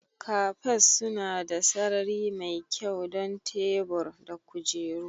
Cafes suna da sarari mai kyau don tebur da kujeru